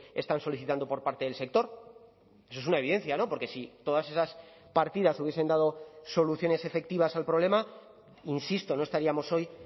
están solicitando por parte del sector eso es una evidencia porque si todas esas partidas hubiesen dado soluciones efectivas al problema insisto no estaríamos hoy